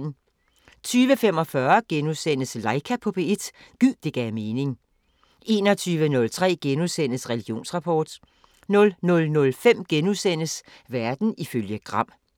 20:45: Laika på P1 – gid det gav mening * 21:03: Religionsrapport * 00:05: Verden ifølge Gram *